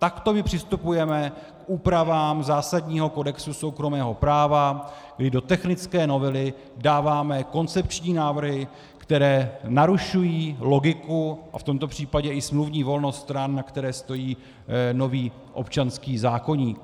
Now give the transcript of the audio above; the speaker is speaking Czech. Takto my přistupujeme k úpravám zásadního kodexu soukromého práva, kdy do technické novely dáváme koncepční návrhy, které narušují logiku a v tomto případě i smluvní volnost stran, na které stojí nový občanský zákoník.